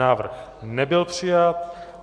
Návrh nebyl přijat.